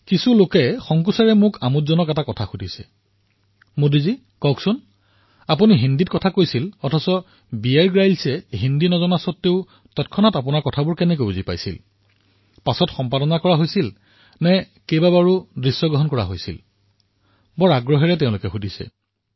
কিন্তু আৰু এটা আমোদজনক কথা কিছুমান লোকে সংকোচেৰে মোক সুধিছে যে মোদীজী কওকচোন আপুনি হিন্দীত কৈ আছিল আৰু বীয়েৰ গ্ৰীলে হিন্দী নাজানে কিন্তু আপোনালোকৰ মাজত ক্ষীপ্ৰতাৰে কিদৰে যোগাযোগ সম্ভৱ হৈছিল এয়া পিছত সম্পাদনা কৰা হৈছিল নেকি অথবা বাৰে বাৰে দৃশ্যগ্ৰহণ কৰা হৈছিল নেকি কি হৈছিল বহু জিজ্ঞাসাৰে এই প্ৰশ্ন মোক কৰে